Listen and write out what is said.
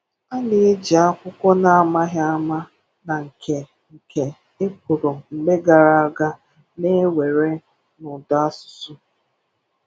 A na-eji akwụkwọ na-amaghị ama na nke nke e kwùrù mgbe gara aga na-ewere na Ùdàsụsụ.